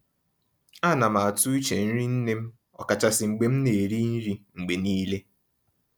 Á ná m àtụ́ úche nrí nnè m, ọ̀kàchàsị́ mgbe m ná-èrí nrí mgbe nííle.